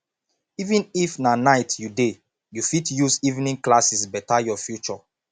even if na night you dey you fit use evening classes beta your future